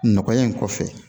Nɔgɔya in kɔfɛ